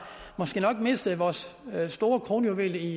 måske nok mistet vores store kronjuvel